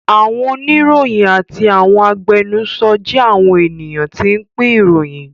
Àwọn oníròyìn àti àwọn agbẹnusọ jẹ́ àwọn ènìyàn tí ń pín ìròyìn